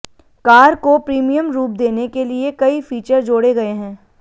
car को premium रूप देने के लिए कई फीचर जोड़े गए हैं